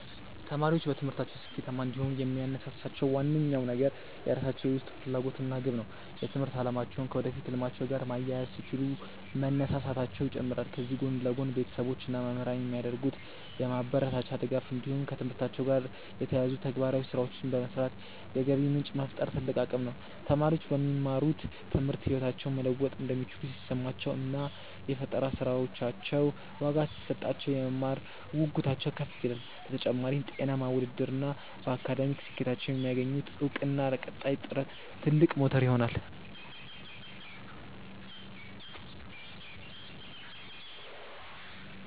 ተማሪዎች በትምህርታቸው ስኬታማ እንዲሆኑ የሚያነሳሳቸው ዋነኛው ነገር የራሳቸው የውስጥ ፍላጎት እና ግብ ነው። የትምህርት አላማቸውን ከወደፊት ህልማቸው ጋር ማያያዝ ሲችሉ መነሳሳታቸው ይጨምራል። ከዚህ ጎን ለጎን፣ ቤተሰቦች እና መምህራን የሚያደርጉት የማበረታቻ ድጋፍ እንዲሁም ከትምህርታቸው ጋር የተያያዙ ተግባራዊ ስራዎችን በመስራት የገቢ ምንጭ መፍጠር ትልቅ አቅም ነው። ተማሪዎች በሚማሩት ትምህርት ህይወታቸውን መለወጥ እንደሚችሉ ሲሰማቸው እና የፈጠራ ስራዎቻቸው ዋጋ ሲሰጣቸው፣ የመማር ጉጉታቸው ከፍ ይላል። በተጨማሪም፣ ጤናማ ውድድር እና በአካዳሚክ ስኬታቸው የሚያገኙት እውቅና ለቀጣይ ጥረት ትልቅ ሞተር ይሆናሉ።